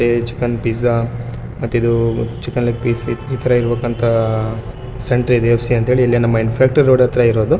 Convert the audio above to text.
ಮತ್ತಿದು chicken piece ಮತ್ತಿದು chicken leg piece ಇದೆ‌ ಇಥರ ಇರ್ಬೆಕಂತ ಸೆಂಟರ್‌ ಎ.ಎಫ.ಸಿ ಅಂತ ಹೆಳಿ ನಮ್ಮ ಇಂಫೆನ್ತ್ರ್ಯ್ ರೋಡ್ ಹತ್ರ ಇರೋದು.